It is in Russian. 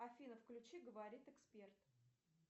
афина включи говорит эксперт